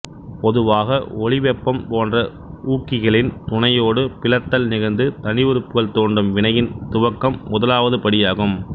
பொதுவாக ஒளிவெப்பம் போன்ற ஊக்கிகளின் துணையோடு பிளத்தல் நிகழ்ந்து தனிஉறுப்புகள் தோன்றும் வினையின் துவக்கம் முதலாவது படியாகும்